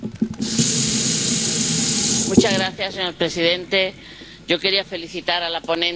Señor presidente, yo quería felicitar a la ponente y a todos lo que han hecho este gran trabajo.